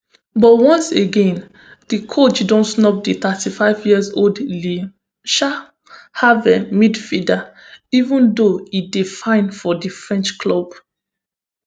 but once again di coach don snub di thirty-fiveyearold le um havre midfielder even though e dey fine for di french club